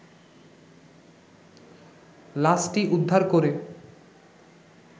লাশটি উদ্বার করে